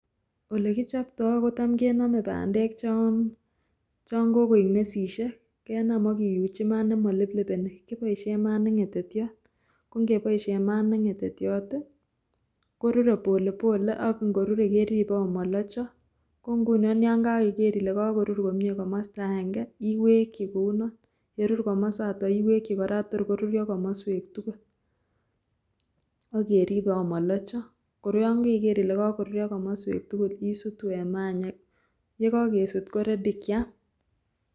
Olekichopto kotam kenome bandek chonkokoik mesisiek kenam akiuchi mat nemoliplipeni kiboisien mat ne ng'etetiot ,kongeboisien mat neng'etetiot korure polepole ake ngorure keripe amolocho kongunon yangoiker ile karur komie komosta akenge iwekyi kounon, yerur komosato iwekyi kora tor korur komoswek tugul akeripe amolocho kor yongoiker ile korurio komoswek tugul isutu en maa any yekokesut koready kyam.